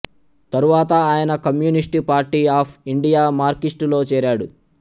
తరువాత ఆయన communist party of India మార్కిస్టులో చేరాడు